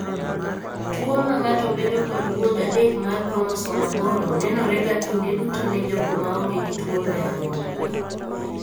Tuo mang'ato bedo kod gund adek mar kromosom aboro nenore ga kinde duto ne jogo maonge gi tuwono e anyuolagi.